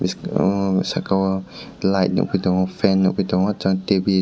bwskango sakao light nogoi tango fan nogoi tango sat tebil.